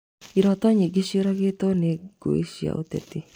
Iroto nyingĩ nĩcĩũragĩtwo nĩ ngũĩ cia ũteti